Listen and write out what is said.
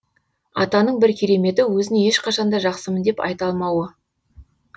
атаның бір кереметі өзін ешқашанда жақсымын деп айта алмауы